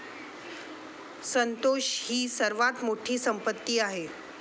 संतोष ही सर्वात मोठी संपत्ती आहे,